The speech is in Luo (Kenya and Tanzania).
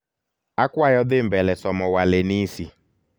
akwayo dhi mbele somo walenisi